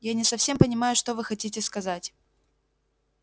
я не совсем понимаю что вы хотите сказать